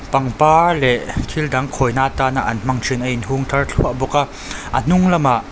pangpar leh thil dang khawi na atana an hmang thin a in hung thar thluah bawk a a hnung lamah--